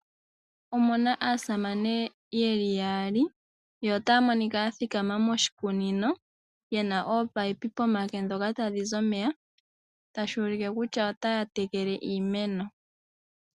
Omu na aasamane ye li yaali, yo otaya monika ya thikama moshikunino ye na oopaipi pomake ndhoka tadhi zi omeya tashi ulike kutya otaya tekele iimeno.